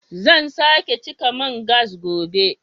Zan sake cika man gas gobe